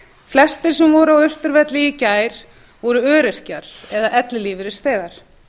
flestir sem voru á austurvelli í gær voru öryrkjar eða ellilífeyrisþegar